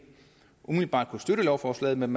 umiddelbart kunne støtte lovforslaget men